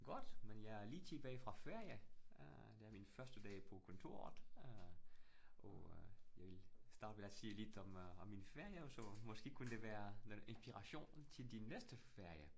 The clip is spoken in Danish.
Godt, men jeg er lige tilbage fra ferie. Øh det er min første ferie på kontoret, øh og øh jeg vil starte med at sige lidt om øh om min ferie, og så måske kunne det være noget inspiration til din næste ferie